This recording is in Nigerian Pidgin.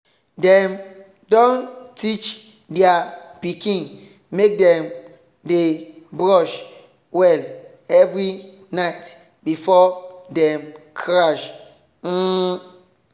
dem don teach their pikin make dem dey brush well every night before dem crash. um